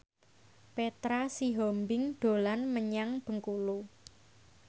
Petra Sihombing dolan menyang Bengkulu